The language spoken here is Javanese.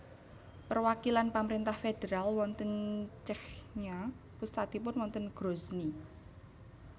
Perwakilan pamrentah federal wonten Chechnya pusatipun wonten Grozny